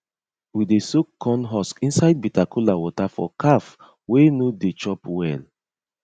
we dey soak corn husk inside bitter kola water for calf wey no dey chop well